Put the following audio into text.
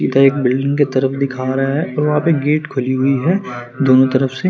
का एक बिल्डिंग के तरफ दिखा रहा है और वहां पे गेट खुली हुई है दोनों तरफ से--